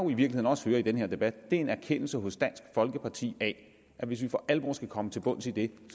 virkeligheden også hører i den her debat er en erkendelse hos dansk folkeparti af at hvis vi for alvor skal komme til bunds i det